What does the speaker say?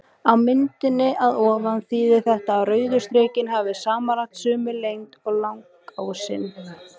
Á myndinni að ofan þýðir þetta að rauðu strikin hafi samanlagt sömu lengd og langásinn.